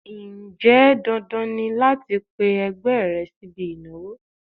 Ǹjẹ́ dandan ni láti pe ẹgbẹ́ rẹ sí ibi ìnáwó?